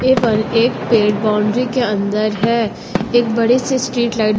केवल एक पेड़ बाउंड्री के अंदर है एक बड़े से स्ट्रीट लाइट --